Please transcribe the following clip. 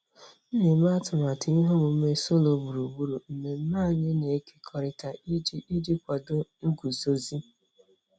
M na-eme atụmatụ ihe omume solo gburugburu mmemme anyị na-ekekọrịta iji iji kwado nguzozi.